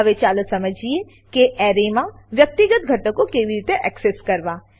હવે ચાલો સમજીએ કે એરેમાં વ્યક્તિગત ઘટકો કેવી રીતે એક્સેસ કરવા